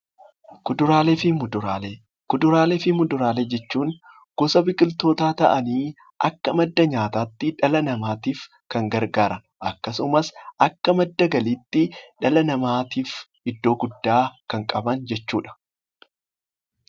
Kuduraalee fi muduraalee jechuun gosa biqiloota ta'anii akka madda nyaatatti kan fayyadanii fi akka madda galiitti dhala namaaf bakka guddaa kan qabanidhaa.